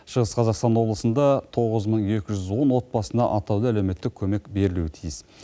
шығыс қазақстан облысында тоғыз мың екі жүз он отбасына атаулы әлеуметтік көмек берілуі тиіс